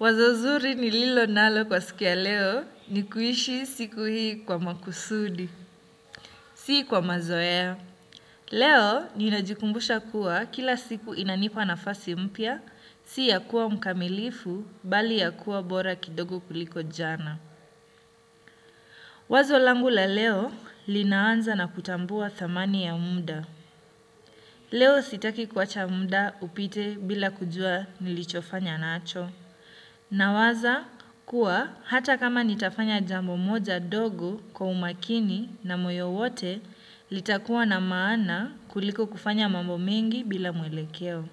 Wazo zuri nililo nalo kwa siku ya leo ni kuishi siku hii kwa makusudi, si kwa mazoea. Leo ninajikumbusha kuwa kila siku inanipa nafasi mpya, si ya kuwa mkamilifu bali ya kuwa bora kidogo kuliko jana. Wazo langu la leo linaanza na kutambua thamani ya muda. Leo sitaki kuacha muda upite bila kujua nilichofanya nacho. Nawaza kuwa hata kama nitafanya jambo moja dogo kwa umakini na moyo wote, litakuwa na maana kuliko kufanya mambo mengi bila mwelekeo.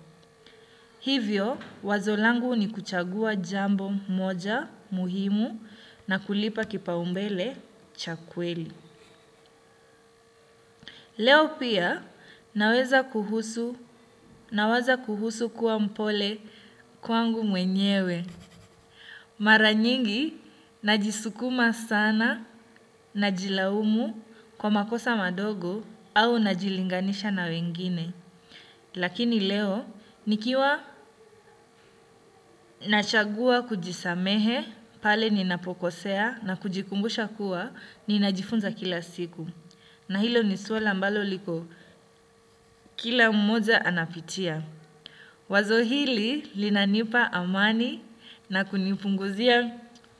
Hivyo, wazo langu ni kuchagua jambo moja muhimu na kulipa kipaumbele cha kweli. Leo pia, naweza kuhusu, nawaza kuhusu kuwa mpole kwangu mwenyewe. Mara nyingi najisukuma sana na jilaumu kwa makosa madogo au najilinganisha na wengine. Lakini leo nikiwa nachagua kujisamehe pale ninapokosea na kujikumbusha kuwa ninajifunza kila siku. Na hilo ni swala ambalo liko kila mmoja anapitia. Wazo hili linanipa amani na kunipunguzia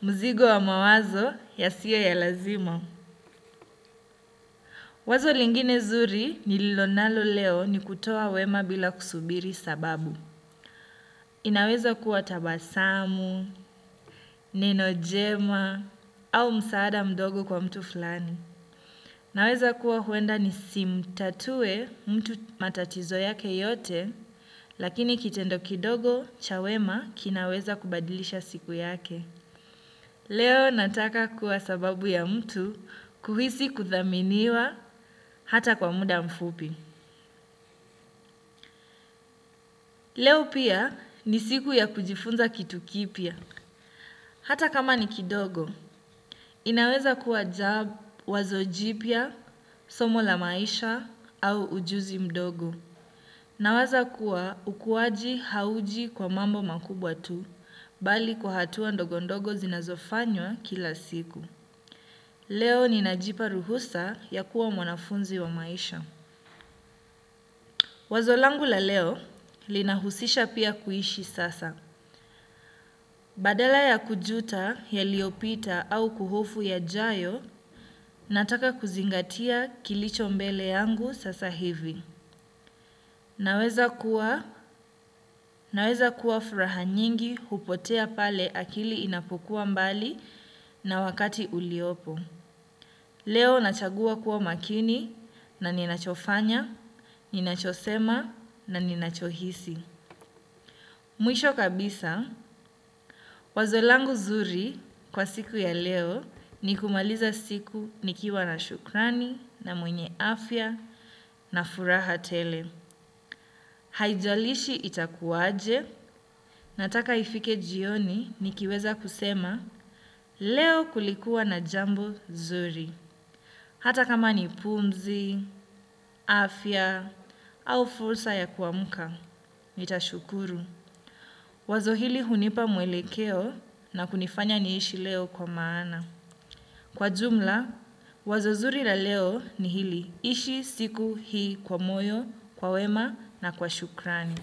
mzigo wa mawazo yasiyo ya lazima. Wazo lingine zuri nililo nalo leo ni kutoa wema bila kusubiri sababu. Inaweza kuwa tabasamu, neno jema au msaada mdogo kwa mtu fulani. Naweza kuwa huenda ni simtatue mtu matatizo yake yote. Lakini kitendo kidogo cha wema kinaweza kubadilisha siku yake. Leo nataka kuwa sababu ya mtu kuhisi kuthaminiwa hata kwa muda mfupi. Leo pia ni siku ya kujifunza kitu kipyq. Hata kama ni kidogo. Inaweza kuwa wazo jipya, somo la maisha au ujuzi mdogo. Na waza kuwa ukuwaji hauji kwa mambo makubwa tu, bali kwa hatua ndogo ndogo zinazofanywa kila siku. Leo ni najipa ruhusa ya kuwa mwanafunzi wa maisha. Wazo langu la leo lina husisha pia kuishi sasa. Badala ya kujuta yaliopita au kuhofu yajayo, nataka kuzingatia kilicho mbele yangu sasa hivi. Naweza kuwa, naweza kuwa furaha nyingi hupotea pale akili inapokuwa mbali na wakati uliopo. Leo nachagua kuwa makini na ninachofanya, ninachosema na ninachohisi. Mwisho kabisa, wazo langu zuri kwa siku ya leo ni kumaliza siku nikiwa na shukrani na mwenye afya na furaha tele. Haijalishi itakuwaje nataka ifike jioni nikiweza kusema leo kulikuwa na jambo zuri. Hata kama ni pumzi, afya au fursa ya kuamka, nitashukuru. Wazo hili hunipa mwelekeo na kunifanya niishi leo kwa maana. Kwa jumla, wazo zuri la leo ni hili ishi siku hii kwa moyo, kwa wema na kwa shukrani.